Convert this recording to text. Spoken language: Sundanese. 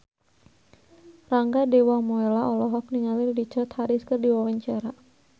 Rangga Dewamoela olohok ningali Richard Harris keur diwawancara